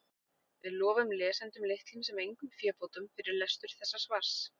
við lofum lesendum litlum sem engum fébótum fyrir lestur þessa svars